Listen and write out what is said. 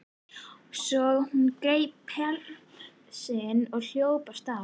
Svo hún greip pelsinn og hljóp af stað.